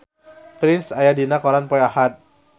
Prince aya dina koran poe Ahad